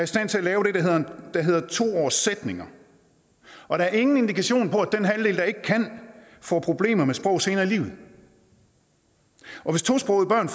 stand til at lave det der hedder to årssætninger og der er ingen indikation på at den halvdel der ikke kan får problemerne med sprog senere i livet hvis tosprogede børn